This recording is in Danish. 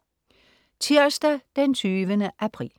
Tirsdag den 20. april